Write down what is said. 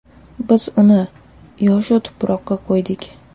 Biz uni – yoshu – Tuproqqa qo‘ydik.